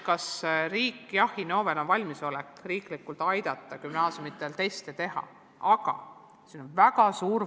Kas Innovel on valmisolek riiklikult aidata gümnaasiumidel teste teha?